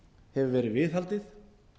hefur verið viðhaldið